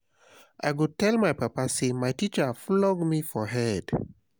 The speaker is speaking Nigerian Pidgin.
i shock wen i hear um say you dey graduate from university already um